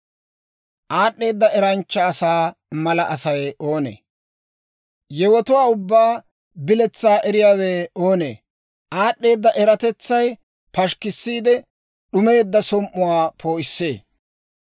Aad'd'eeda eranchcha asaa mala Asay oonee? Yewotuwaa ubbaa biletsaa eriyaawe oonee? Aad'd'eeda eratetsay pashikkissiide, d'umeedda som"uwaa poo'issee.